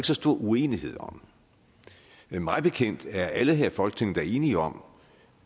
så stor uenighed om mig bekendt er alle her i folketinget da enige om